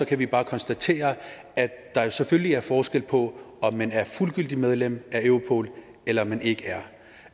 kan vi bare konstatere at der jo selvfølgelig er forskel på om man er fuldgyldigt medlem af europol eller om man ikke er